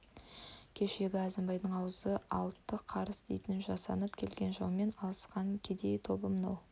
кешегі әзімбайдай аузы алты қарыс дейтін жасанып келген жаумен алысқан кедей тобы мынау